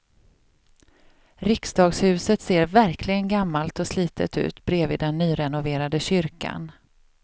Riksdagshuset ser verkligen gammalt och slitet ut bredvid den nyrenoverade kyrkan.